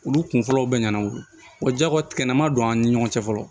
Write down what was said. Olu kun fɔlɔw bɛ ɲɛnabɔ wa jako kɛnɛ ma don an ni ɲɔgɔn cɛ fɔlɔ